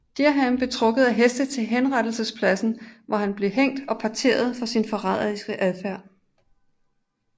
Dereham blev trukket af heste til henrettelsespladsen hvor han blev hængt og parteret for sin forræderiske adfærd